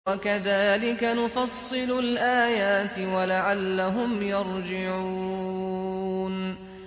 وَكَذَٰلِكَ نُفَصِّلُ الْآيَاتِ وَلَعَلَّهُمْ يَرْجِعُونَ